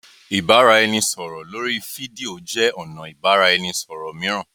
ibaraẹnisọrọ lori fidio jẹ ọna ibaraẹnisọrọ miiran.